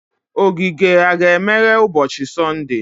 ogige a ga-emeghe n'ụbọchi Sọnde?